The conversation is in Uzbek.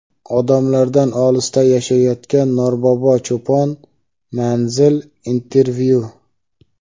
Odamlardan olisda yashayotgan Norbobo cho‘pon — Manzil | Intervyu.